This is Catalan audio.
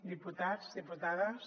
diputats diputades